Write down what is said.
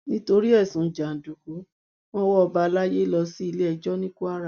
nítorí ẹsùn jàǹdùkú wọn wọ ọba àlàyé lọ sí iléẹjọ ní kwara